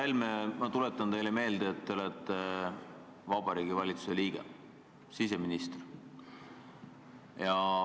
Härra Helme, ma tuletan teile meelde, et te olete Vabariigi Valitsuse liige, siseminister.